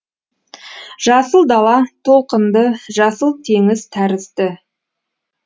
жасыл дала толқынды жасыл теңіз тәрізді